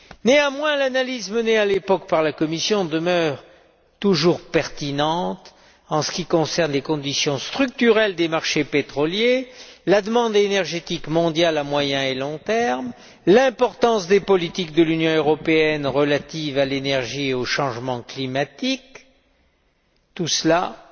Néanmoins, l'analyse menée à l'époque par la Commission demeure toujours pertinente en ce qui concerne les conditions structurelles des marchés pétroliers, la demande énergétique mondiale à moyen et à long terme, l'importance des politiques de l'Union européenne relatives à l'énergie et au changement climatique, tout cela étant